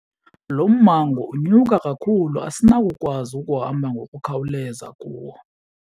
Lo mmango unyuka kakhulu asinawukwazi ukuhamba ngokukhawuleza kuwo.